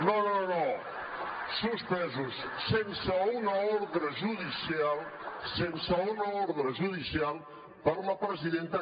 no no no no suspesos sense una ordre judicial sense una ordre judicial per la presidenta